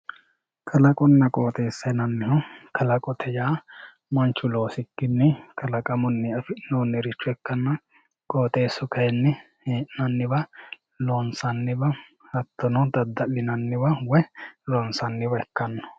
Kalaqonna qooxeessa yinannihu, kalaqote yaa manchu loosikkini kalaqunni afi'noricho ikkanna qooxxeesu kayinni hee'nanniwa loonsanniwa hattono dadda'linanniwa loonsaniwa ikkano.